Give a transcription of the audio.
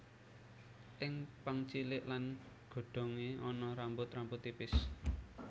Ing pang cilik lan godhongé ana rambut rambut tipis